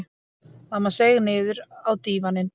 Mamma seig niður á dívaninn.